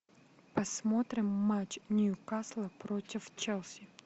посмотрим матч ньюкасла против челси